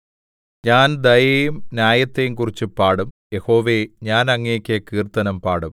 ഞാൻ ദയയെയും ന്യായത്തെയും കുറിച്ച് പാടും യഹോവേ ഞാൻ അങ്ങേക്ക് കീർത്തനം പാടും